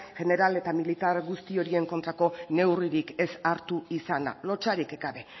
jeneral eta militar guzti horien kontrako neurririk ez hartu izana lotsarik gabe